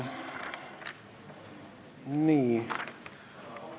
Nii ...